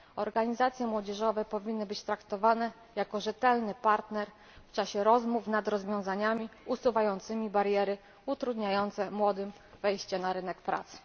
Organizacje młodzieżowe powinny być traktowane jako rzetelny partner do rozmowy nad rozwiązaniami usuwającymi bariery utrudniające młodym wejście na rynek pracy.